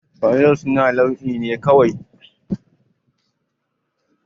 Fanadal sunan nau'i ne kawai